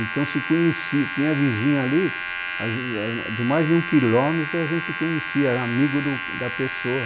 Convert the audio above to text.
Então se conhecia, tinha vizinho ali, ãh de mais de um quilômetro a gente conhecia, era amigo do da pessoa.